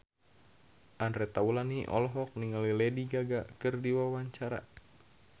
Andre Taulany olohok ningali Lady Gaga keur diwawancara